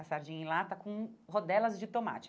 A sardinha em lata com rodelas de tomate.